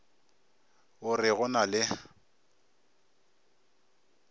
o re go na le